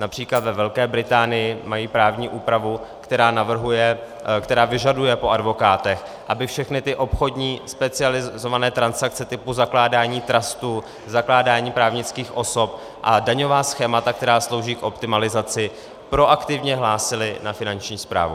Například ve Velké Británii mají právní úpravu, která vyžaduje po advokátech, aby všechny ty obchodní specializované transakce typu zakládání trustu, zakládání právnických osob a daňová schémata, která slouží k optimalizaci, proaktivně hlásili na finanční správu.